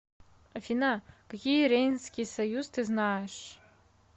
афина какие рейнский союз ты знаешь